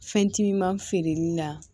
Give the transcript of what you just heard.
Fɛn timinan feereli la